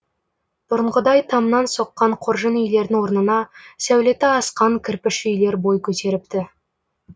бұрынғыдай тамнан соққан қоржын үйлердің орнына сәулеті асқан кірпіш үйлер бой көтеріпті